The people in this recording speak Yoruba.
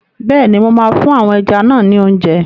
Bẹ́ẹ̀ni, mo máa fún àwọn ẹja náà ni óúnjẹ.